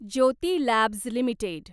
Jyoti labs limited